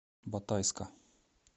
батайска